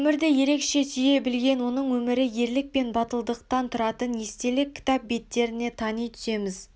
өмірді ерекше сүйе білген оның өмірі ерлік пен батылдықтан тұратынын естелік кітап беттеріне тани түсеміз